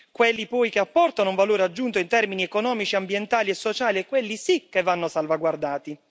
Quelli poi che apportano un valore aggiunto in termini economici, ambientali e sociali, quelli sì che vanno salvaguardati.